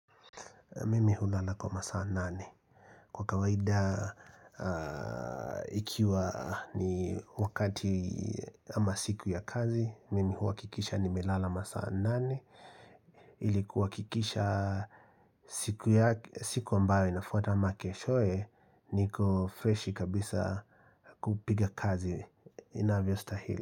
Mimi hulala kwa masaa nane. Kwa kawaida, ikiwa ni wakati ama siku ya kazi, Mimi huwa kikisha nimelala masaa nane ili kuwahakikisha siku yake siku ambayo inafuata ama keshoye, niko freshi kabisa kupiga kazi inavyo stahili.